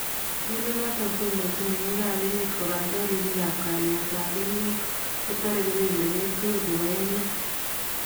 Tool noton koondochin mengiikab emet kobaten ribiikab kalyetab emeet koteree kobeberweek tukul chebo emeet